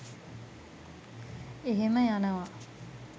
එහෙම යනව